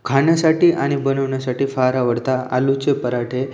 खाण्यासाठी आणि बनवण्यासाठी फार आवडता आलू चे पराठे.